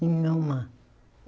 Nenhuma.